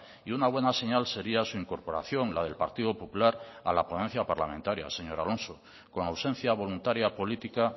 y una buena señal sería su incorporación la del partido popular a la ponencia parlamentaria señor alonso con ausencia voluntaria política